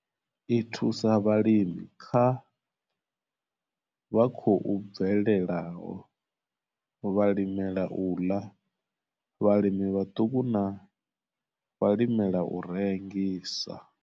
I thusa vhalimi vha khou bvelelaho, vhalimela u ḽa, vhalimi vhaṱuku na vhalimela u rengisa.